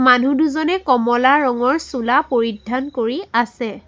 মানুহ দুজনে কমলা ৰঙৰ চোলা পৰিধান কৰি আছে।